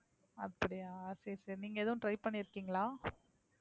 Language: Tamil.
அப்படியா சரி, சரி. நீங்க எதும் try பண்ணிருக்கீங்களா?